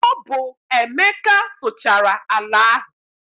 Ọ bụ Emeka sụchara ala ahụ.